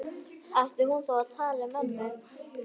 Ætti hún þá að tala við ömmu?